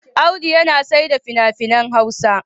Audu yana saida fina-finan Hausa.